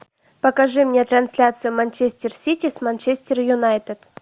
покажи мне трансляцию манчестер сити с манчестер юнайтед